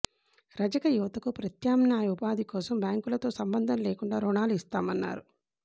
రజక యువతకు ప్రత్యామ్నాయ ఉపాధి కోసం బ్యాంకులతో సంబంధం లేకుండా రుణాలు ఇస్తామన్నారు